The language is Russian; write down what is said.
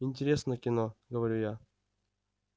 интересное кино говорю я